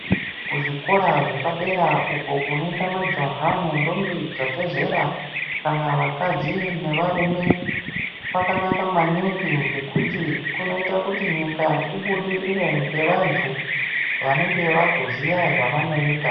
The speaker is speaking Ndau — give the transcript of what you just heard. Kuzvikora zvepadera uko kunoenda majaha nentombi dzabve zera kana vakadzi nevarume kwakanaka maningi ngekuti kunoita kuti nyika ibudirire ngevantu vanenge vakuziya zvavanoita.